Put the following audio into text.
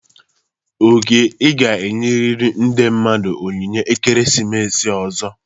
Oke, ị ga-enyerịrị ndị mmadụ onyinye ekeresimesi ọzọ!